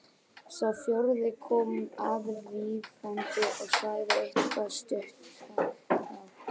Sá fjórði kom aðvífandi og sagði eitthvað stundarhátt.